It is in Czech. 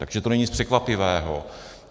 Takže to není nic překvapivého.